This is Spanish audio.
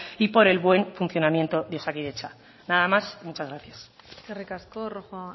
y por el buen funcionamiento de osakidetza nada más muchas gracias eskerrik asko rojo